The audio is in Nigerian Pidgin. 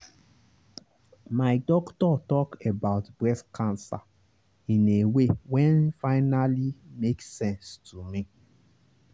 my doctor talk about breast cancer in a way wen finally make sense to me.